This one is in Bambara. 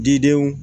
Didenw